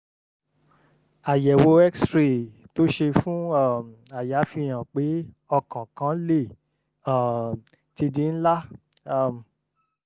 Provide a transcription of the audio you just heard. àyẹ̀wò x-rays tó ṣe fún um àyà fihàn pé ọkàn kan lè um ti di ńlá um